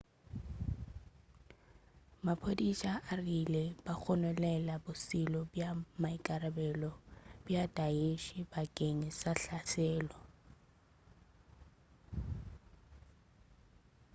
maphodisa a rile ba gononela bošole bja maikarabelo bja daesh isil bakeng sa hlaselo